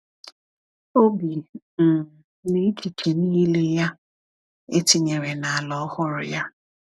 Obi um na echiche niile ya etinyere na ala ọhụrụ ya.